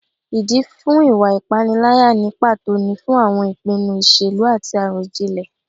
Ìdí fún ìwà ìpániláyà ní pàtó ni fún àwọn ìpinnu ìṣèlú àti àròjinlẹ̀